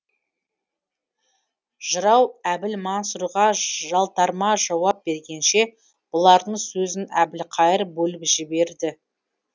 жырау әбілмансұрға жалтарма жауап бергенше бұлардың сөзін әбілқайыр бөліп жіберді